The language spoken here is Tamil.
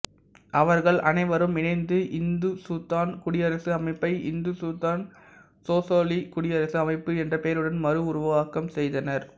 அவர்கள் அனைவரும் இணைந்து இந்துசுத்தான் குடியரசு அமைப்பை இந்துசுத்தான் சோசலிசக் குடியரசு அமைப்பு என்ற பெயருடன் மறு உருவாக்கம் செய்தனர்